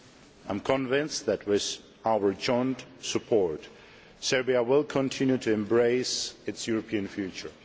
I am convinced that, with our joint support, Serbia will continue to embrace its European future.